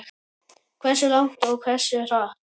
Hversu langt og hversu hratt.